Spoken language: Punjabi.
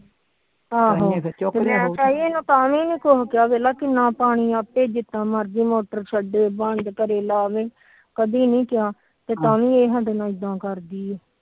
ਆਹੋ ਮੈ ਮੈ ਇਹਨੂੰ ਤਾਵੀ ਨੀ ਕੁਛ ਕਿਹਾ ਜਿਹਾ ਮਰਜੀ ਮੋਟਰ ਛੱਡੇ ਜਿੰਨਾ ਮਰਜੀ ਪਾਣੀ ਛੱਡੇ ਕਦੀ ਨੀ ਕਿਹਾ ਇਹ ਤਾ ਵੀ ਸਾਡੇ ਨਾਲ ਇਦਾ ਕਰਦੀ